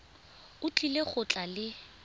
o tlile go tla le